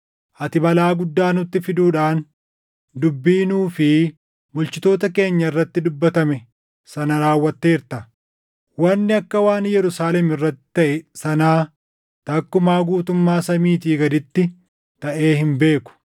Ati balaa guddaa nutti fiduudhaan dubbii nuu fi bulchitoota keenya irratti dubbatame sana raawwatteerta. Wanni akka waan Yerusaalem irratti taʼe sanaa takkumaa guutummaa samiitii gaditti taʼee hin beeku.